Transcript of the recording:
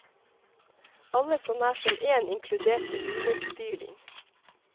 Alle så nær som én inkluderte underspyling.